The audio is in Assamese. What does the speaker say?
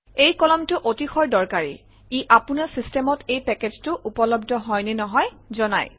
এই কলমটো অতিশয় দৰকাৰী ই আপোনাৰ চিষ্টেমত এই পেকেজটো উপলব্ধ হয় নে নহয় জনায়